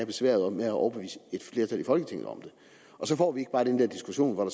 besværet med at overbevise et flertal i folketinget om det og så får vi ikke bare den der diskussion hvor